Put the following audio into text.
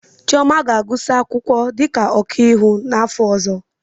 Chioma ga-agụsị akwụkwọ dịka ọkaiwu n'afọ ọzọ.